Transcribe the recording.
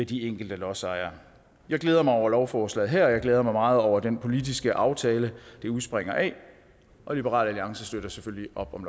de enkelte lodsejere jeg glæder mig over lovforslaget her og jeg glæder mig meget over den politiske aftale det udspringer af liberal alliance støtter selvfølgelig op om